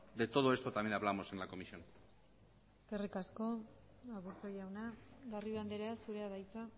de todo esto también hablamos en la comisión eskerrik asko aburto jauna garrido andrea zurea da hitza